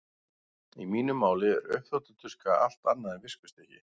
Í mínu máli er uppþvottatuska allt annað en viskustykki.